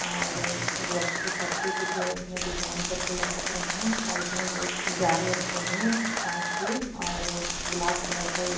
और गज के पत्ते कुछ है उसमें डिजाईन करके लटक रहे हैं। साइड में दो जार रखे है कांच के और गुलाब कलर का ये --